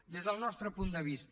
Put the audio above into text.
des del nostre punt de vista